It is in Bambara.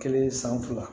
Kelen san fila